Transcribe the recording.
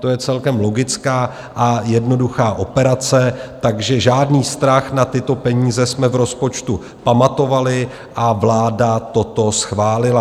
To je celkem logická a jednoduchá operace, takže žádný strach, na tyto peníze jsme v rozpočtu pamatovali a vláda toto schválila.